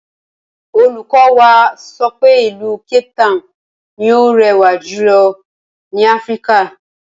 Olùkọ́ wa sọ pé ìlú Capetown ni ó rẹwà jùlọ ní Áfíríkà